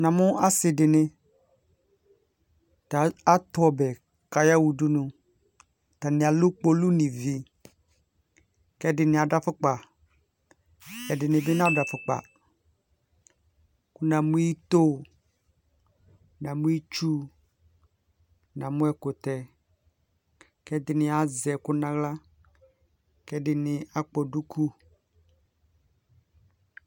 Na mu ase de ne ta ato ɔbɛ ko ayaha udunu, Arane alu kpolu no ivi, ko ɛdene ado afokpa Ɛdene be nado afokpa Ko na mu ito, na mu itsu, na mu ɛkutɛ, ko ɛdene azɛ ɛku no ahla, ko ɛdene akpɔ duku